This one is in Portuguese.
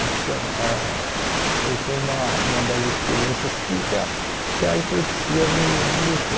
Então, ãh foi foi uma uma das experiências que que a que a epilepsia me me deixou.